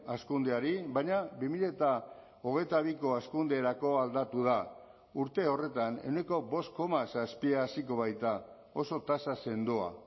hazkundeari baina bi mila hogeita biko hazkunderako aldatu da urte horretan ehuneko bost koma zazpia haziko baita oso tasa sendoa